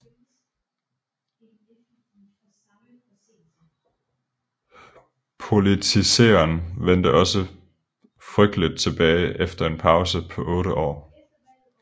Politiseren vendte også frygteligt tilbage efter en pause på otte år